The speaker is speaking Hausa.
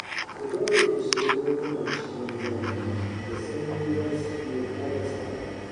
Ku daure ku sayi barguna cikin zafi da sanyi za su iya ƙara tsada